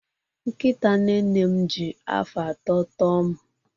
Nkịta nne nne m ji afọ atọ tọo m